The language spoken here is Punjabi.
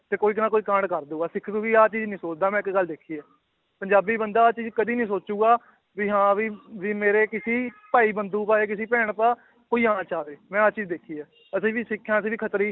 ਤੇ ਕੋਈ ਜਾਣਾ ਕੋਈ ਕਾਂਡ ਕਰ ਦਊਗਾ, ਸਿੱਖ ਕਦੇ ਆਹ ਚੀਜ਼ ਨੀ ਸੋਚਦਾ ਮੈਂ ਇੱਕ ਗੱਲ ਦੇਖੀ ਹੈ ਪੰਜਾਬੀ ਬੰਦਾ ਆਹ ਚੀਜ਼ ਕਦੇ ਨੀ ਸੋਚੇਗਾ ਵੀ ਹਾਂ ਵੀ, ਵੀ ਮੇਰੇ ਕਿਸੇ ਭਾਈ ਬੰਦੂ ਬਾਰੇ ਕਿਸੇ ਭੈਣ ਭਰਾ ਕੋਈ ਆ ਨਾ ਜਾਵੇ ਮੈਂ ਆਹ ਚੀਜ਼ ਦੇਖੀ ਹੈ ਅਸੀਂ ਵੀ ਸਿੱਖ ਹਾਂ ਅਸੀਂ ਖੱਤਰੀ